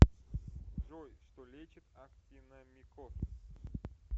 джой что лечит актиномикоз